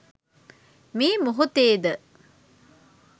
මේ මොහොතේ ද